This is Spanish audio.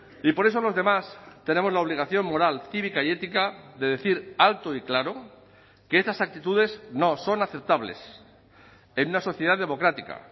y por eso los demás tenemos la obligación moral cívica y ética de decir alto y claro que estas actitudes no son aceptables en una sociedad democrática